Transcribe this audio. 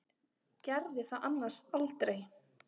Gerði það annars aldrei.